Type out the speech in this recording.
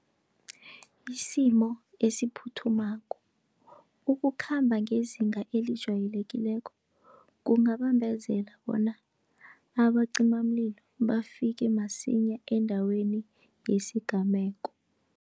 Isimo esiphuthumako, ukukhamba ngezinga elijayelekileko kungabambezela bona abacimamlilo, bafike masinya endaweni yesigameko.